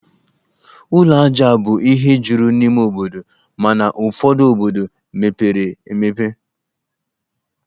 Ụlọ ajá bụ ihe juru n'ime obodo, mana ụfọdu obodo mepere emepe